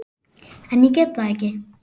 En ég get það ekki.